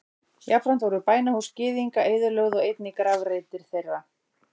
Jafnframt voru bænahús Gyðinga eyðilögð og einnig grafreitir þeirra.